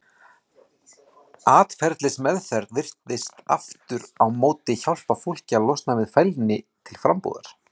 Atferlismeðferð virðist aftur á móti hjálpa fólki að losna við fælni til frambúðar.